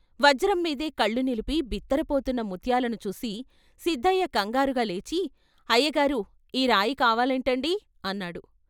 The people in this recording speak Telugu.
పజ్రం మీదే కళ్ళు నిలిపి బిత్తరపోతున్న ముత్యాలుని చూసి సిద్దయ్య కంగారుగా లేచి 'అయ్యగారూ ఈ రాయి కావాలేంటండీ' అన్నాడు.